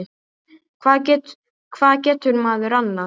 Hvað getur maður annað?